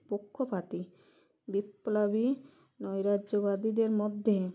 পক্ষপাতী বিপ্লবী নৈরাজ্যবাদীদের মধ্যে